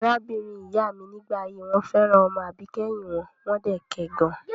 Arábìnrin ìyá mi ní ìgbà ayé wọn fẹ́ràn ọmọ àbíkẹ́yìn wọn, wọ́n dẹ̀ kẹ gan.